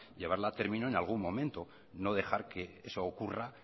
llevarla a término en algún momento no dejar que eso ocurra